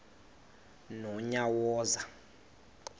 nonyawoza